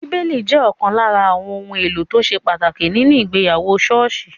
Bíbélì jẹ́ ọ̀kan lára àwọn ohun èlò tó ṣe pàtàkì nínu ìgbéyàwó ṣọ́ọ̀ṣì